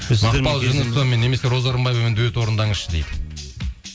немесе роза рымбаевамен дуэт орындаңызшы дейді